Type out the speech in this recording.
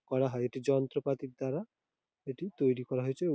করা হয় এটি যন্ত্রপাতির দ্বারা এটি তৈরী করা হয়েছে ও--